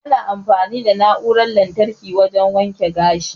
Ana amfani da na'uran lantarki wajan waken gashi